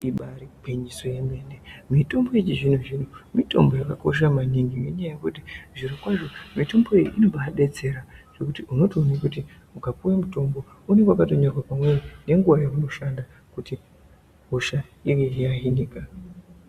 Ibari gwinyiso yemene mitombo yechizvinzvino mitombo yangayakakosha maningi nenyaya yekuti zvirokwazvo mitomboyo inobadetsera zvekuti ukapuwe mitombo unenge wakatonyorwa pamweni nenguwa yaunoshanda kuti hosha inge yahinika.